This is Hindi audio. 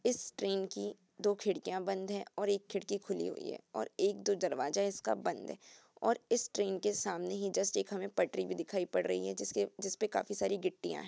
इस ट्रेन की दो खिड़कियां बंद है और एक खिड़की खुली हुई है और एक-दो दरवाजा इसका बंद है और इस ट्रेन के सामने ही जस्ट एक हमें पटरी भी दिखाई पड़ रही है जिसके जिसपे काफी सारी गिट्टियां है।